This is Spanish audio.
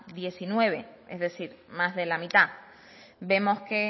diecinueve es decir más de la mitad vemos que